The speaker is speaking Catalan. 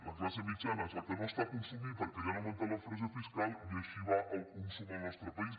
la classe mitjana és la que no està consumint perquè li han augmentat la pressió fiscal i així va el consum en el nostre país